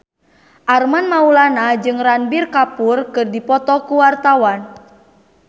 Armand Maulana jeung Ranbir Kapoor keur dipoto ku wartawan